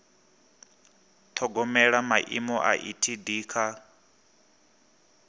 ṱhogomela maimo a etd kha